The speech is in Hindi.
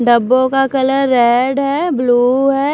डब्बो का कलर रेड है ब्लू है।